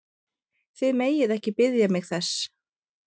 Þið megið ekki biðja mig þess!